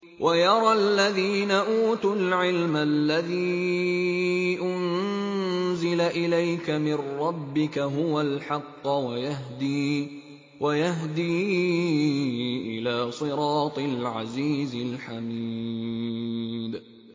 وَيَرَى الَّذِينَ أُوتُوا الْعِلْمَ الَّذِي أُنزِلَ إِلَيْكَ مِن رَّبِّكَ هُوَ الْحَقَّ وَيَهْدِي إِلَىٰ صِرَاطِ الْعَزِيزِ الْحَمِيدِ